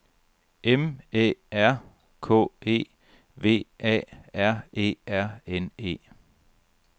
M Æ R K E V A R E R N E